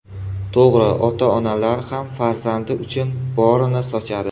To‘g‘ri, ota-onalar ham farzandi uchun borini sochadi.